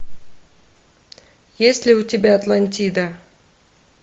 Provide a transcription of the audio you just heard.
есть ли у тебя атлантида